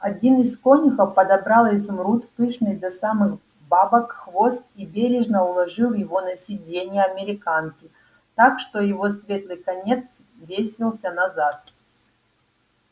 один из конюхов подобрал изумруд пышный до самых бабок хвост и бережно уложил его на сиденье американки так что его светлый конец свесился назад